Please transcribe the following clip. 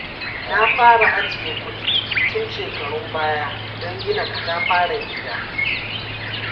Na fara ajiye kudi tun shekarun baya don gina katafaren gida.